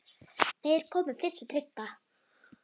Þeir komu fyrst við í Tryggva